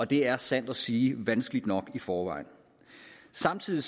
det er sandt at sige vanskeligt nok i forvejen samtidig